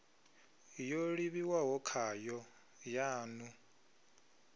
yo livhiwaho khayo ya ḽu